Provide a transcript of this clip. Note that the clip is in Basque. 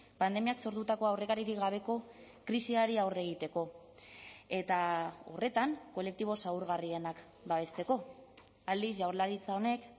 pandemiak sortutako aurrekaririk gabeko krisiari aurre egiteko eta horretan kolektibo zaurgarrienak babesteko aldiz jaurlaritza honek